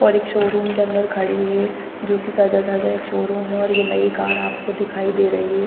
और एक showroom के अंदर खड़ी हैं जो सजा धजा एक शो रूम हैं और ये नई कार दिखाई दे रही है ।